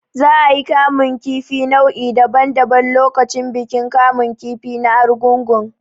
Za a yi kamun kifi nau'i daban daban lokacin bikin kamun kifi na Arugungu.